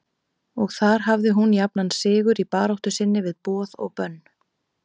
Og þar hafði hún jafnan sigur í baráttu sinni við boð og bönn.